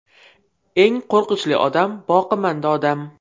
Eng qo‘rqinchli odam boqimanda odam.